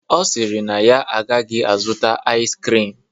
Ọ sịrị na ya agaghị azụta ais krim